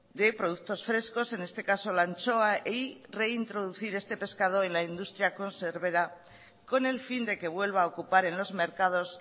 de productos frescos en este caso la anchoa y reintroducir este pescado en la industria conservera con el fin de que vuelva a ocupar en los mercados